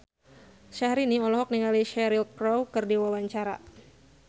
Syahrini olohok ningali Cheryl Crow keur diwawancara